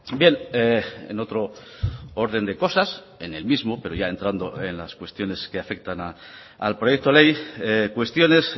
bien en otro orden de cosas en el mismo pero ya entrando en las cuestiones que afectan al proyecto ley cuestiones